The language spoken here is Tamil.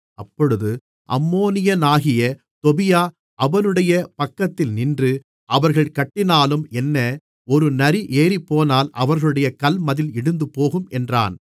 அப்பொழுது அம்மோனியனாகிய தொபியா அவனுடைய பக்கத்தில் நின்று அவர்கள் கட்டினாலும் என்ன ஒரு நரி ஏறிப்போனால் அவர்களுடைய கல்மதில் இடிந்துபோகும் என்றான்